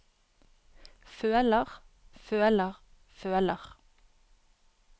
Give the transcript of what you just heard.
føler føler føler